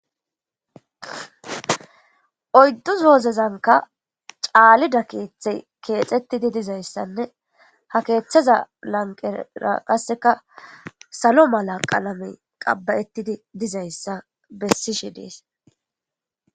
oyddu zozezanka caalida keeththe keexettidi dizayssanne ha keeththeza lanqera qasseka salo mala qalame qabbayettidi dizayssa bessishe dees